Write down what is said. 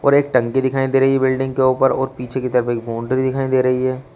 और एक टंकी दिखाई दे रही है बिल्डिंग के ऊपर और पीछे को तरफ एक बाउंड्री दिखाई दे रही है।